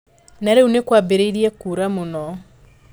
Na rĩu nĩ kwambĩrĩirie kuura mũno.